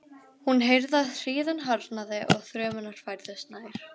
Hún heyrði að hríðin harðnaði og þrumurnar færðust nær.